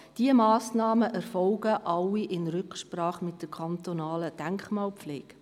Diese Massnahmen erfolgen alle in Rücksprache mit der kantonalen Denkmalpflege.